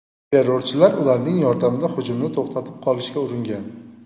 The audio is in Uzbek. Terrorchilar ularning yordamida hujumni to‘xtatib qolishga uringan.